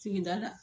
Sigida la